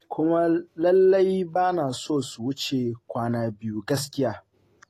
Kuma lallai ba na so su wuce kwana biyu gaskiya.